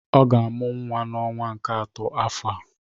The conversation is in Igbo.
Ọ ga-amụ nwa n'ọnwa nke atọ afọ a